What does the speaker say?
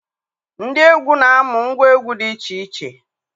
Ndị egwu na-amụ ngwa egwu dị iche iche